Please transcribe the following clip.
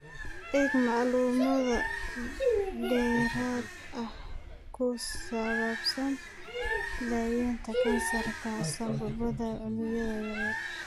Eeg macluumaad dheeraad ah oo ku saabsan daawaynta kansarka sambabada unugyada yaryar.